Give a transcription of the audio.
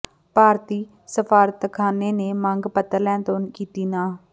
ਭਾਰਤੀ ਸਫਾਰਤਖਾਨੇ ਨੇ ਮੰਗ ਪੱਤਰ ਲੈਣ ਤੋਂ ਕੀਤੀ ਨਾਂਹ